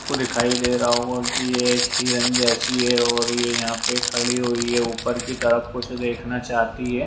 आपको दिखाई दे रहा होगा कि एक हिरन जैसी है और ये यहाँ पर खड़ी हुई है ऊपर की तरफ कुछ देखना चाहती हैं।